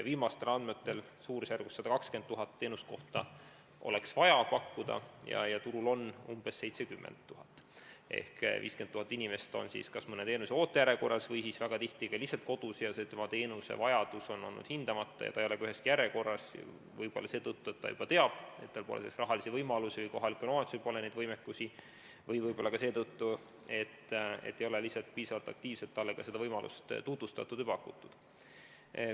Viimastel andmetel oleks vaja suurusjärgus 120 000 teenuskohta ja turul on umbes 70 000 kohta ehk 50 000 inimest on kas mõne teenuse järjekorras või väga tihti ka lihtsalt kodus, teenusevajadus on olnud hindamata, inimene ei ole ka üheski järjekorras, võib-olla seetõttu, et ta juba teab, et tal pole rahalisi võimalusi või kohalikul omavalitsusel pole seda võimekust, või võib-olla ka seetõttu, et ei ole lihtsalt piisavalt aktiivselt talle seda võimalust tutvustatud või pakutud.